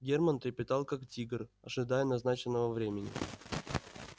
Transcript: германн трепетал как тигр ожидая назначенного времени